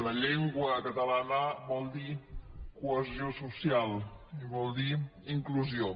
la llengua catalana vol dir cohesió social i vol dir inclusió